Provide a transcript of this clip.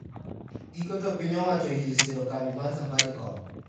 Giko to piny owacho oyie siro kambi mar safaricom